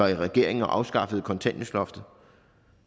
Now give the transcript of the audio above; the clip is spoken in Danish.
regering og afskaffede kontanthjælpsloftet